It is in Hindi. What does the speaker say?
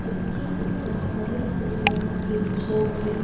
जिसके ऊपर हरे हरे रंग के छोटे--